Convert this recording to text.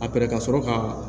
A pɛrɛ ka sɔrɔ ka